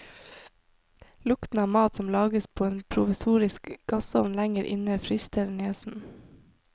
Lukten av mat som lages på en provisorisk gassovn lenger inne frister nesen.